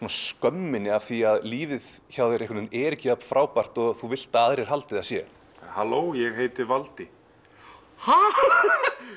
skömminni af því að lífið hjá þér er ekki jafn frábært og þú vilt að aðrir haldi að það sé halló ég heiti valdi ha